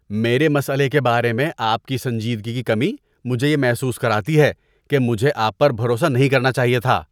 میرے مسئلے کے بارے میں آپ کی سنجیدگی کی کمی مجھے یہ محسوس کراتی ہے کہ مجھے آپ پر بھروسہ نہیں کرنا چاہیے تھا۔